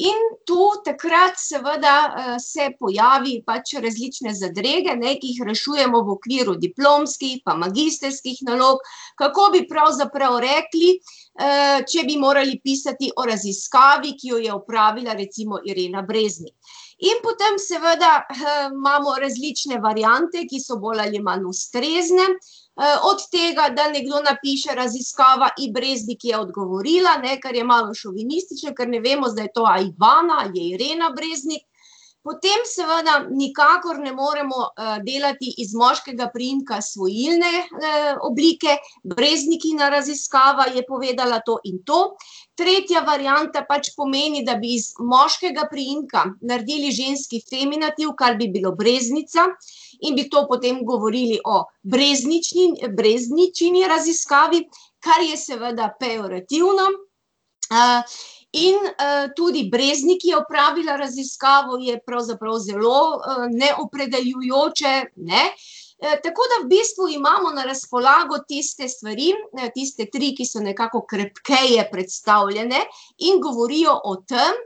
In tu takrat, seveda se pojavi pač različne zadrege, ne, ki jih rešujemo v okviru diplomskih pa magistrskih nalog, kako bi pravzaprav rekli, če bi morali pisati o raziskavi, ki jo je opravila recimo Irena Breznik. In potem seveda, imamo različne variante, ki so bolj ali manj ustrezne, od tega, da nekdo napiše: Raziskava In. Breznik je odgovorila, ne, ker je malo šovinistično, ker ne vemo zdaj to, ali Ivana ali je Irena Breznik. Potem seveda nikakor ne morem, delati iz moškega priimka svojilne, oblike, Breznikina raziskava je povedala to in to. Tretja varianta pač pomeni, da bi iz moškega priimka naredili ženski feminativ, kar bi bilo Breznica, in bi to potem govorili o Brezničini raziskavi, kar je seveda pejorativno, in, tudi Breznik je opravila raziskavo je pravzaprav zelo, neopredeljujoče, ne. tako da v bistvu imamo na razpolago tiste stvari, tiste tri, ki so nekako krepkeje predstavljene in govorijo o tam,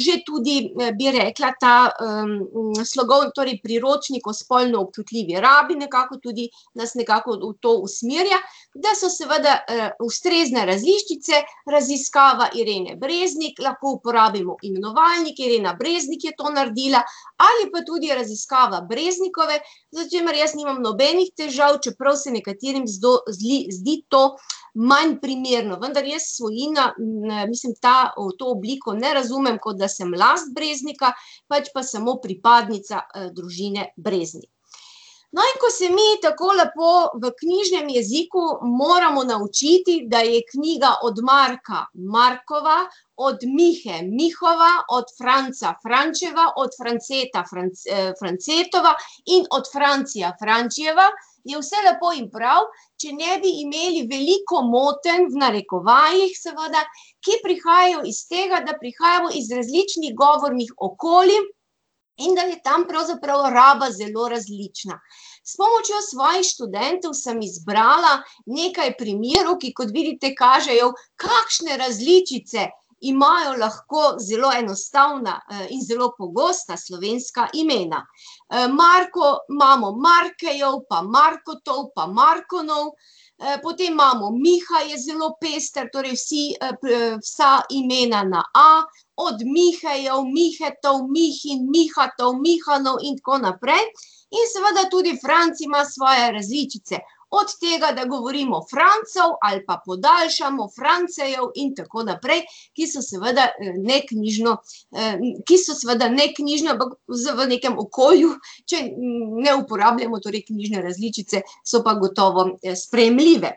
že tudi, bi rekla, ta, torej priročnik o spolno občutljivi rabi nekako tudi nas nekako v to usmerja, da so seveda, ustrezne različice, raziskava Irene Breznik, lahko uporabimo imenovalnik, Irena Breznik je to naredila, ali pa tudi raziskava Breznikove, s čimer jaz nimam nobenih težav, čeprav se nekaterim zdi to manj primerno, vendar je svojina, mislim ta, v to obliko ne razumem, kot da sem last Breznika, pač pa samo pripadnica, družine Breznik. No, in ko se mi tako lepo v knjižnem jeziku moramo naučiti, da je knjiga od Marka Markova, od Mihe Mihova, od Franca Frančeva, od Franceta Francetova in od Francija Frančijeva, je vse lepo in prav, če ne bi imeli veliko motenj, v narekovajih seveda, ki prihajajo iz tega, da prihajamo iz različnih govornih okolij in da je tam pravzaprav raba zelo različna. S pomočjo svojih študentov sem izbrala nekaj primerov, ki, kot vidite, kažejo, kakšne različice imajo lahko zelo enostavna, in zelo pogosta slovenska imena. Marko imamo Markejev pa Markotov pa Markonov, potem imamo Miha, je zelo pester, torej vsi, vsa imena na A, od Mihejev, Mihetov, Mihin, Mihatov, Mihanov in tako naprej, in seveda tudi Franc ima svoje različice: od tega, da govorimo Francev ali pa podaljšamo Francejev in tako naprej, ki so seveda, neknjižno, ki so seveda neknjižne, ampak v nekem okolju, če ne uporabljamo torej knjižne različice, so pa gotovo sprejemljive.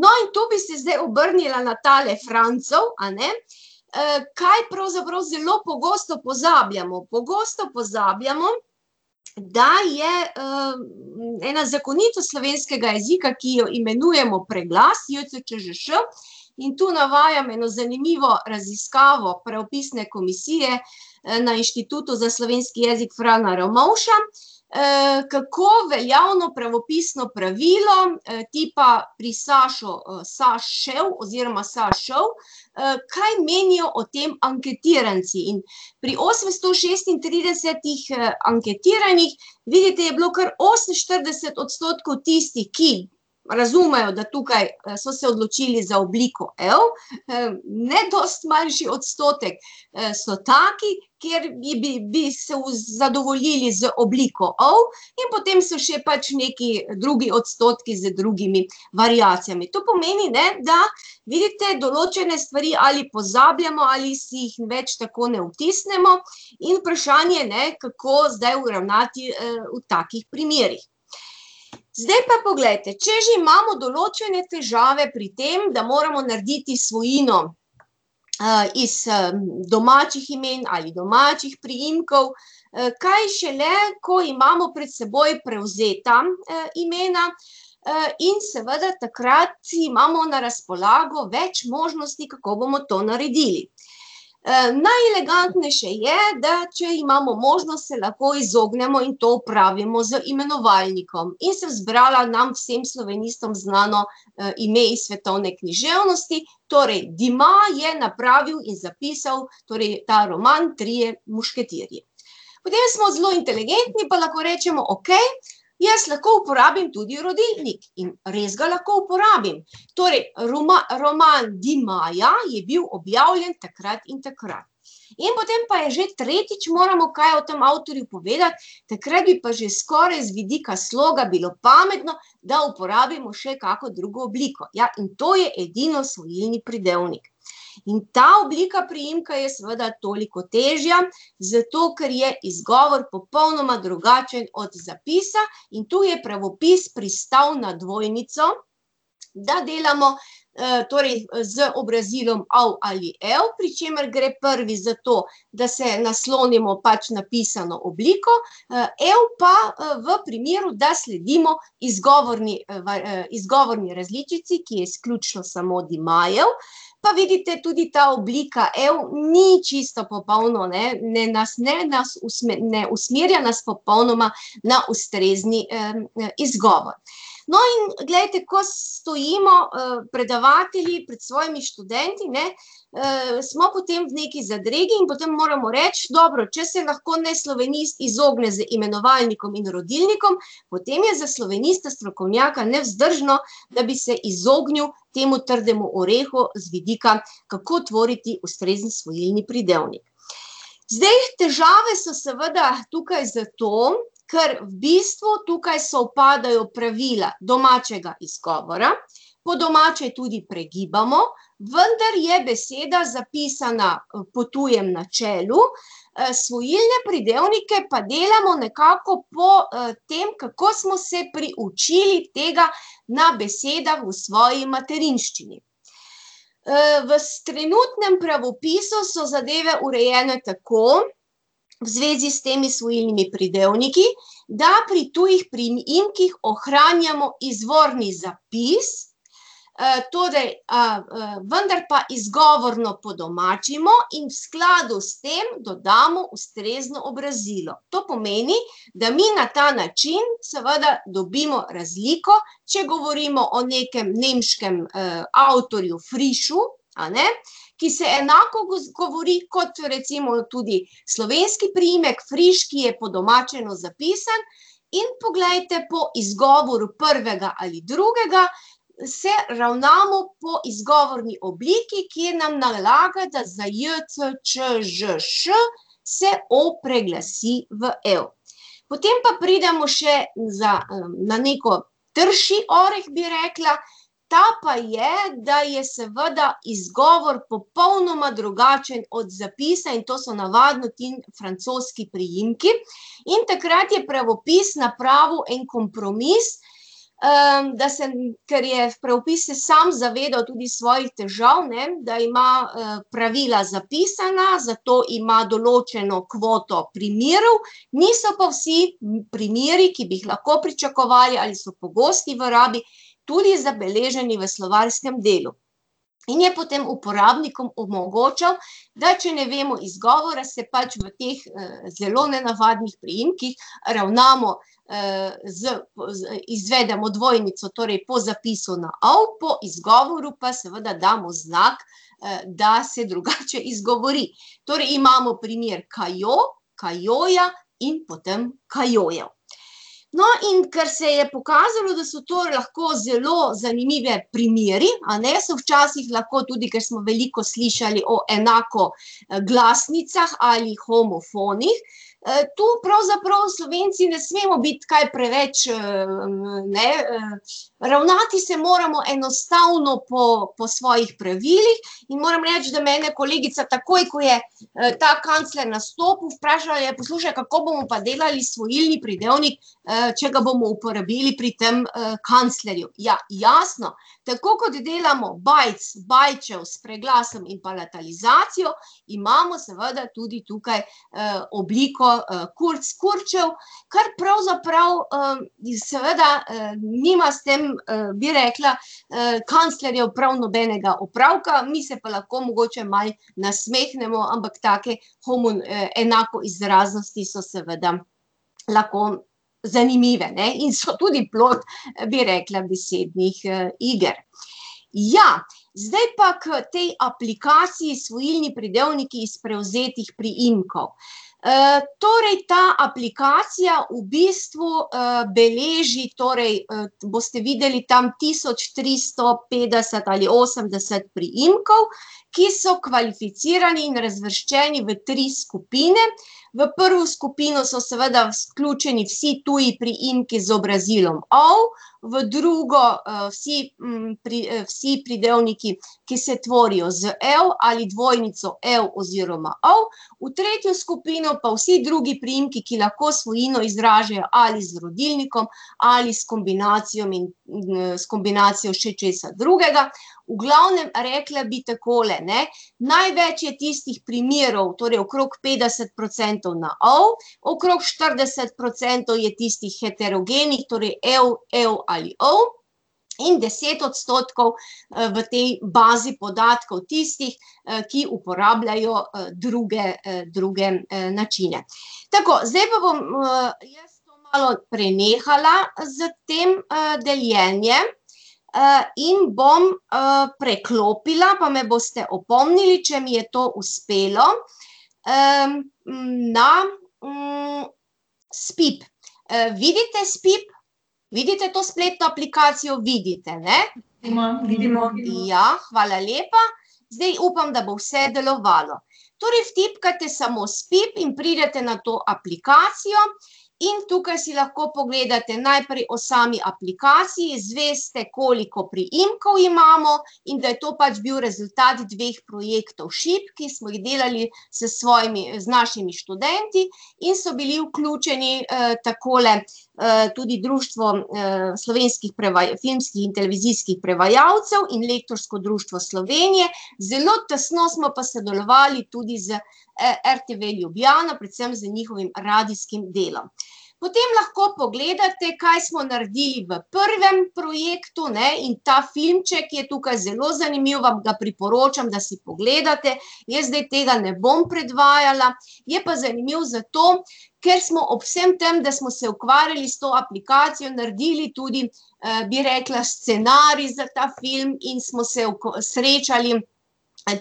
No, in tu bi se zdaj obrnila na tale Francev, a ne. kaj pravzaprav zelo pogosto pozabljamo? Pogosto pozabljamo, da je, ena zakonitost slovenskega jezika, ki jo imenujemo preglas, je, c, č, ž, š, in tu navajam eno zanimivo raziskavo Pravopisne komisije, na Inštitutu za slovenski jezik Frana Ramovša, kako veljavno pravopisno pravilo, tipa pri Sašo, Sašev oziroma Sašov, kaj menijo o tem anketiranci. In pri osemsto šestintridesetih, anketiranih vidite, je bilo kar oseminštirideset odstotkov tistih, ki razumejo, da tukaj, so se odločili za obliko -ev, ne dosti manjši odstotek, so taki, kjer bi, bi se zadovoljili z obliko -ov, in potem so še pač neki drugi odstotki z drugimi variacijami. To pomeni, ne, da vidite, določene stvari ali pozabljamo ali si jih več tako ne vtisnemo in vprašanje, ne, kako zdaj ravnati, v takih primerih. Zdaj pa poglejte, če že imamo določene težave pri tem, da moramo narediti svojino, iz, domačih imen ali domačih priimkov, kaj šele, ko imamo pred seboj prevzeta, imena, in seveda takrat imamo na razpolago več možnosti, kako bomo to naredili. najelegantnejše je, da če imamo možnost, se lahko izognemo in to opravimo z imenovalnikom. In sem zbrala nam vsem slovenistom znano, ime iz svetovne književnosti, torej Dumas je napravil iz zapisov torej ta roman, Trije mušketirji. Potem smo zelo inteligentni pa lahko rečemo: "Okej, jaz lahko uporabim tudi rodilnik." In res ga lahko uporabim. Torej roman Dumasa je bil objavljen takrat in takrat. In potem pa je že tretjič, moramo kaj o tem avtorju povedati, takrat bi pa že skoraj z vidika sloga bilo pametno, da uporabimo še kakšno drugo obliko, ja, in to je edino svojilni pridevnik. In ta oblika priimka je seveda toliko težja, zato ker je izgovor popolnoma drugačen od zapisa, in tu je pravopis pristal na dvojnico, da delamo, torej z obrazilom -ov ali -ev, pri čemer gre prvi zato, da se naslonimo pač na pisano obliko, -ev pa, v primeru, da sledimo izgovorni, izgovorni različici, ki je izključno samo Dumasev, pa vidite, tudi ta oblika -ev, ni čisto popolno, ne, nas ne, nas ne usmerja nas popolnoma na ustrezni, izgovor. No, in glejte, ko stojimo, predavatelji pred svojimi študenti, ne, smo potem v neki zadregi in potem moramo reči: "Dobro, če se lahko neslovenist izogne z imenovalnikom in rodilnikom, potem je za slovenista strokovnjaka nevzdržno, da bi se izognili temu trdemu orehu z vidika, kako tvoriti ustrezni svojilni pridevnik." Zdaj, težave so seveda tukaj zato, ker v bistvu tukaj sovpadajo pravila domačega izgovora, po domače tudi pregibamo, vendar je beseda zapisana, po tujem načelu, svojilne pridevnike pa delamo nekako po, tem, kako smo se priučili tega na besedah v svoji materinščini. v trenutnem pravopisu so zadeve urejene tako, v zvezi s temi svojilnimi pridevniki, da pri tujih priimkih ohranjamo izvorni zapis, torej, vendar pa izgovorno podomačimo in v skladu s tem dodamo ustrezno obrazilo. To pomeni, da mi na ta način seveda dobimo razliko, če govorimo o nekem nemškem avtorju Frischu, a ne, ki se enako govori kot recimo tudi slovenski priimek Friš, ki je podomačeno zapisan. In poglejte, po izgovoru prvega ali drugega se ravnamo po izgovorni obliki, ki nam nalaga, da za j, c, č, ž, š se -ov preglasi v -ev. Potem pa pridemo še za, na nek trši orh, bi rekla, ta pa je, da je seveda izgovor popolnoma drugačen od zapisa, in to so navadno ti francoski priimki. In takrat je pravopis napravil en kompromis, da se, kar je pravopis se sam zavedal tudi svojih težav, ne, da ima, pravila zapisana, zato ima določeno kvoto primerov, niso pa vsi primeri, ki bi jih lahko pričakovali ali so pogosti v rabi, tudi zabeleženi v slovarskem delu. In je potem uporabnikom omogočal, da če ne vemo izgovora, se pač v teh zelo nenavadnih priimkih ravnamo, z izvedemo dvojnico, torej po zapisu na -ov, po izgovoru pa seveda damo znak, da se drugače izgovori. Torej imamo primer Kajo, Kajoja in potem Kajojev. No, in kar se je pokazalo, da so to lahko zelo zanimivi primeri, a ne, so včasih lahko tudi, ker smo veliko slišali o enakoglasnicah ali homofonih, tu pravzaprav Slovenci ne smemo biti kaj preveč, ne, ravnati se moramo enostavno po, po svojih pravilih, in moram reči, da mene kolegica takoj, ko je, ta kancler nastopil, vprašala: "Ja, poslušaj, kako bomo pa delali svojilni pridevnik, če ga bomo uporabili pri tem, kanclerju?" Ja, jasno, tako kot delamo Bajc, Bajčev s preglasom in palatalizacijo, imamo seveda tudi tukaj, obliko, Kurz Kurčev, kar pravzaprav, iz seveda, nima s tem, bi rekla, kanclerjev prav nobenega opravka, mi se pa lahko mogoče malo nasmehnemo, ampak take enakoizraznosti so seveda lahko zanimive, ne, in so tudi plod, bi rekla, besednih, iger. Ja, zdaj pa k tej aplikaciji Svojilni pridevniki iz prevzetih priimkov. torej ta aplikacija v bistvu, beleži torej, boste videli, tam tisoč tristo petdeset ali osemdeset priimkov, ki so kvalificirani in razvrščeni v tri skupine. V prvo skupino so seveda vključeni vsi tudi priimki z obrazilom -ov, v drugo, vsi, vsi pridevniki, ki se tvorijo z -ev ali dvojnico -ev oziroma -ov, v tretjo skupino pa vsi drugi priimki, ki lahko svojino izražajo ali z rodilnikom ali s kombinacijami, s kombinacijo še česa drugega. V glavnem, rekla bi takole, ne: največ je tistih primerov, torej okrog petdeset procentov na -ov, okrog štirideset procentov je tistih heterogenih, torej -ev, -ev ali -ov, in deset odstotkov, v tej bazi podatkov tistih, ki uporabljajo, druge, druge, načine. Tako, zdaj pa bom, jaz to malo prenehala s tem, deljenjem, in bom, preklopila, pa me boste opomnili, če mi je to uspelo, na, Spip, vidite Spip? Vidite to spletno aplikacijo? Vidite, ne. Ja, hvala lepa. Zdaj upam, da bo vse delovalo. Torej vtipkajte samo Spip in pridete na to aplikacijo. In tukaj si lahko ogledate najprej o sami aplikaciji, izveste, koliko priimkov imamo in da je to pač bil rezultat dveh projektov Šip, ki smo jih delali s svojimi, z našimi študenti in so bili vključeni, takole, tudi Društvo, slovenskih filmskih in televizijskih prevajalcev in Lektorsko društvo Slovenije, zelo tesno smo pa sodelovali tudi z RTV Ljubljana, predvsem z njihovim radijskim delom. Potem lahko pogledate, kaj smo naredili v prvem projektu, ne, in ta filmček je tukaj zelo zanimiv, vam priporočam, da si pogledate, jaz zdaj tega ne bom predvajala, je pa zanimiv zato, ker smo ob vsem tem, da smo se ukvarjali s to aplikacijo, naredili tudi, bi rekla, scenarij za ta film in smo se srečali,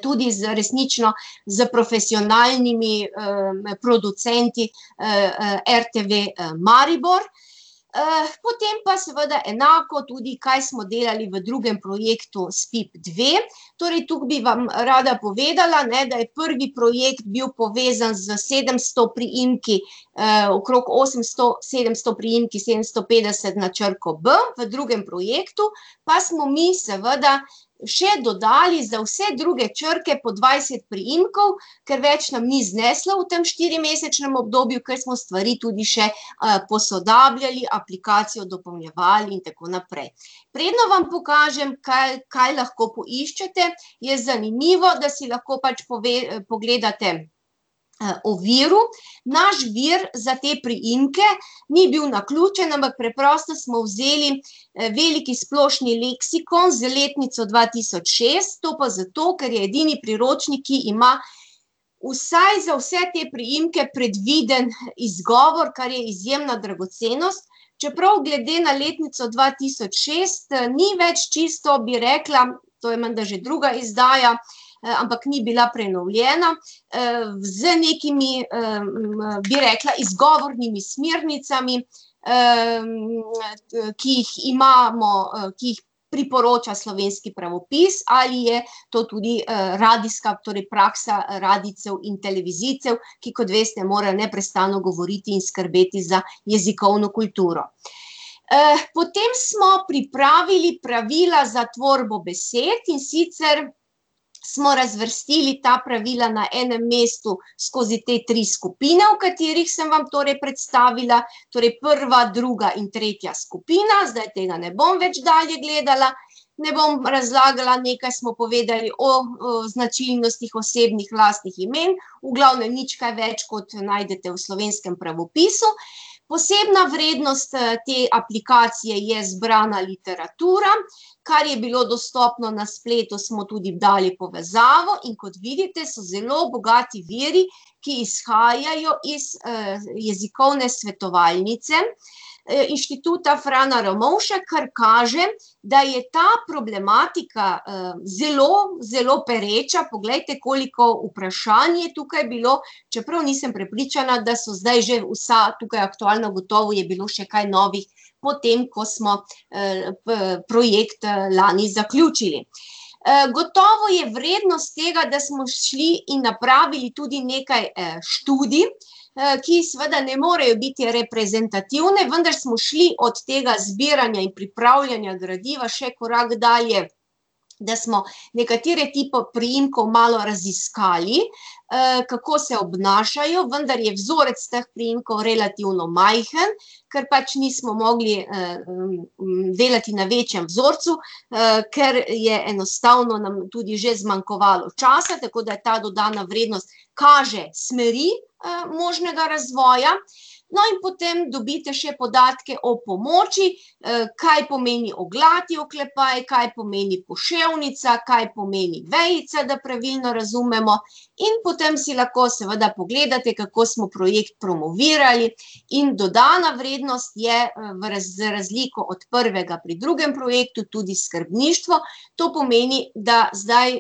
tudi z resnično, s profesionalnimi, producenti, RTV, Maribor. potem pa seveda enako tudi, kaj smo delali v drugem projektu Spip dve, torej tu bi vam rada povedala, ne, da je prvi projekt bil povezan z sedemsto priimki, okrog osemsto, sedemsto priimki, sedemsto petdeset na črko bi, v drugem projektu pa smo mi seveda še dodali za vse druge črke po dvajset priimkov, ker več nam ni zneslo v tem štirimesečnem obdobju, ker smo stvari tudi še, posodabljali, aplikacijo dopolnjevali in tako naprej. Preden vam pokažem kaj, kaj lahko poiščete, je zanimivo, da si lahko pač pogledate, o viru. Naš vir za te priimke ni bil naključen, ampak preprosto smo vzeli, Veliki splošni leksikon z letnico dva tisoč šest, to pa zato, ker je edini priročnik, ki ima vsaj za vse te priimke predviden izgovor, kar je izjemna dragocenost, čeprav glede na letnico dva tisoč šest, ni več čisto, bi rekla, to je menda že druga izdaja, ampak ni bila prenovljena, z nekimi, bi rekla, izgovornimi smernicami, ki jih imamo, ki jih priporoča Slovenski pravopis, ali je to tudi, radijska, torej praksa radijcev in televizijcev, ki, kot veste, morajo neprestano govoriti in skrbeti za jezikovno kulturo. potem smo pripravili pravila za tvorbo besed, in sicer smo razvrstili ta pravila na enem mestu skozi te tri skupine, o katerih sem vam torej predstavila, torej prva, druga in tretja skupina, zdaj tega ne bom več dalje gledala, ne bom razlagala, nekaj smo povedali o, značilnostih osebnih lastnih imen, v glavnem, nič kaj več, kot najdete v Slovenskem pravopisu. Posebna vrednost, te aplikacije je zbrana literatura, kar je bilo dostopno na spletu, smo tudi dali povezavo, in kot vidite, so zelo bogati viri, ki izhajajo iz, Jezikovne svetovalnice, Inštituta Frana Ramovša, kar kaže, da je ta problematika, zelo, zelo pereča, poglejte, koliko vprašanj je tukaj bilo, čeprav nisem prepričana, da so zdaj že vsa tukaj aktualna, gotovo je bilo še kaj novih po tem, ko smo, projekt, lani zaključili. gotovo je vrednost tega, da smo šli in napravili tudi nekaj, študij, ki seveda ne morejo biti reprezentativne, vendar smo šli od tega zbiranja in pripravljanja gradiva še korak dalje, da smo nekatere tipov priimkov malo raziskali, kako se obnašajo, vendar je vzorec teh priimkov relativno majhen, ker pač nismo mogli, delati na večjem vzorcu, ker je enostavno nam tudi že zmanjkovalo časa, tako da ta dodana vrednost kaže smeri, možnega razvoja. No, in potem dobite še podatke o pomoči, kaj pomeni oglati oklepaj, kaj pomeni poševnica, kaj pomeni vejica, da pravilno razumemo, in potem si lahko seveda pogledate, kako smo projekt promovirali, in dodana vrednost je, v razliko od prvega pri drugem projektu tudi skrbništvo, to pomeni, da zdaj,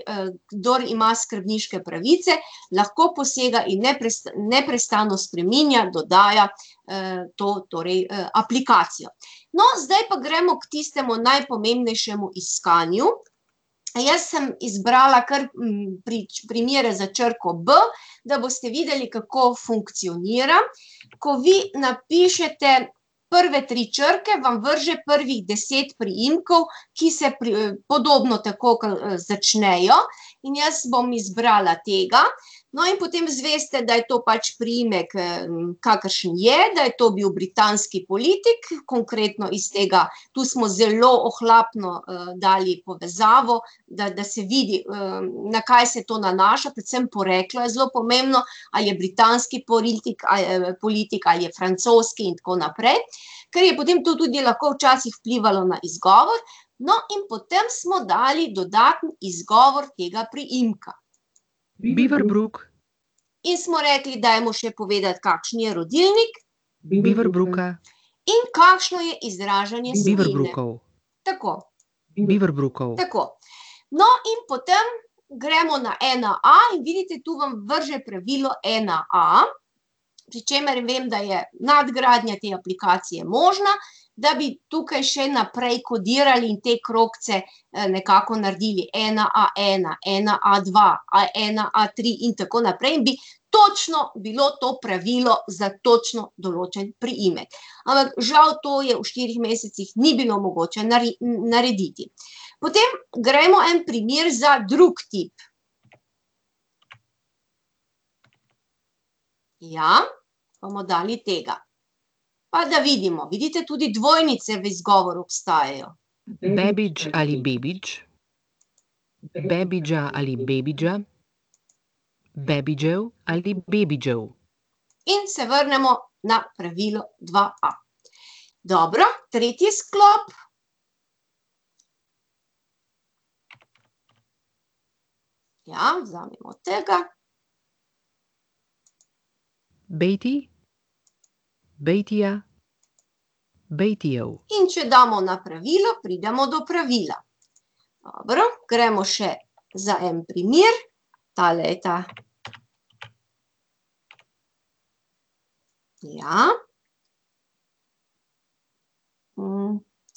kdor ima skrbniške pravice, lahko posega in neprestano spreminja, dodaja, to torej, aplikacijo. No, zdaj pa gremo k tistemu najpomembnejšemu iskanju. Jaz sem izbrala kar, primer za črko b, da boste videli, kako funkcionira. Ko vi napišete prve tri črke, vam vrže prvih deset priimkov, ki se podobno tako, začnejo. In jaz bom izbrala tega. No, in potem zveste, da je to pač priimek, kakršen je, da je to bil britanski politik, konkretno iz tega, tu smo zelo ohlapno, dali povezavo, da, da se vidi, na kaj se to nanaša, predvsem poreklo je zelo pomembno, ali je britanski politik politik ali je francoski in tako naprej, ker je potem to tudi lahko včasih vplivalo na izgovor. No, in potem smo dali dodaten izgovor tega priimka. In smo rekli, dajmo še povedati, kakšen je rodilnik. In kakšno je izražanje svojine. Tako. Tako. No, in potem gremo na ena a, in vidite, tu vam vrže pravilo ena a, pri čemer vem, da je nadgradnja te aplikacije možna, da bi tukaj še naprej kodirali te krogce, nekako naredili ena a ena, ena a dva ali ena a tri in tako naprej in bi točno bilo to pravilo za točno določen priimek. Ampak žal to je v štirih mesecih ni bilo mogoče narediti. Potem gremo en primer za drug tip. Ja. Bomo dali tega. Pa da vidimo, vidite, tudi dvojnice v izgovoru obstajajo. In se vrnemo na pravilo dva a. Dobro, tretji sklop. Ja, vzamemo tega. In če damo na pravilo, pridemo do pravila. Dobro, gremo še za en primer, tale je ta. Ja.